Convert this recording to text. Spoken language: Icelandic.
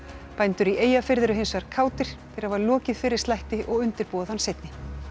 bændur í Eyjafirði eru hins vegar kátir þeir hafa lokið fyrri slætti og undirbúa þann seinni